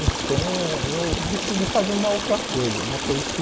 Então eu decidi fazer uma outra coisa, uma coisa que...